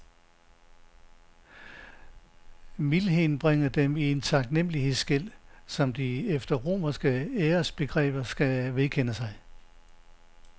Mildheden bringer dem i en taknemlighedsgæld, som de efter romerske æresbegreber skal vedkende sig.